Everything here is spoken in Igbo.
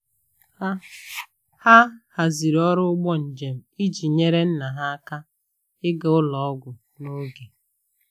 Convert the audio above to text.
Ha Ha haziri ọrụ ụgbọ njem iji nyere nna ha aka ịga ụlọ ọgwụ n'oge.